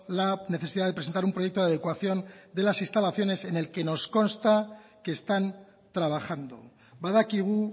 la necesidad de presentar un proyecto de adecuación de las instalaciones en el que nos constan que están trabajando badakigu